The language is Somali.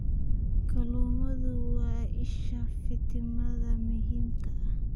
Kalluunku waa isha fiitamiinnada muhiimka ah.